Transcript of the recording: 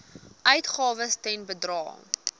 uitgawes ten bedrae